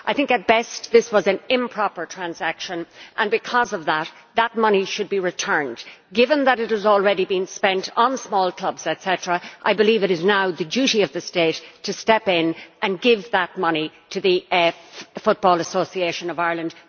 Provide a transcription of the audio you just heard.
At best, this was an improper transaction and, because of that, the money should be returned. Given that it has already been spent on small clubs, etcetera, I believe it is now the duty of the state to step in and give that money to the Football Association of Ireland.